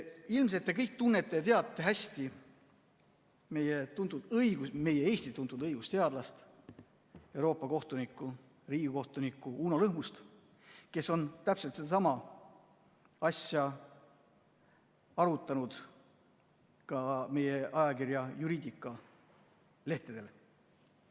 Ilmselt te kõik tunnete ja teate hästi meie Eesti tuntud õigusteadlast, Euroopa kohtunikku, riigikohtunikku Uno Lõhmust, kes on täpselt sedasama asja arutanud ka meie ajakirja Juridica lehtedel.